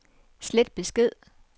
slet besked